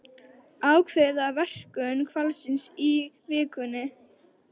Ákveða verkun hvalsins í vikunni